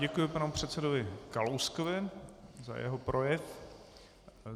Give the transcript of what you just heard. Děkuji panu předsedovi Kalouskovi za jeho projev.